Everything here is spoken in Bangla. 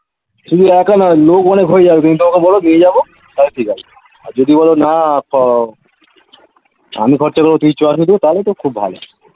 শুধু একা নয় লোক অনেক হয়ে যাবে কিন্তু তুমি তাকে বলো নিয়ে যাবো তাহলে ঠিকআছে আর যদি বলো না খ আমি খরচা দেব তুই চল শুধু তাহলে তো খুব ভালো